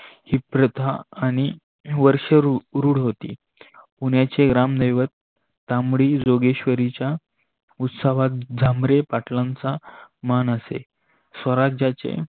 ही प्रथा आणि वर्ष रूड होती. पुण्याचे ग्रामदेवत ताम्डी योग्यस्वरीच्य उत्सावत झामरे पाटलांचा मान असे. स्वराजांचे